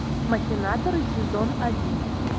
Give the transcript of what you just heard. махинаторы сезон один